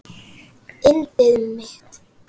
Yndið mitt!